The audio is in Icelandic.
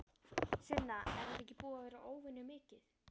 Sunna: Er þetta ekki búið að vera óvenju mikið?